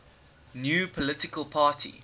new political party